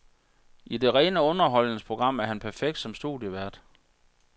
I det rene underholdningsprogram er han perfekt som studievært.